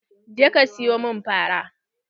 Je ka siyo min fara!